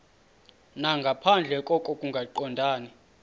nangaphandle koko kungaqondani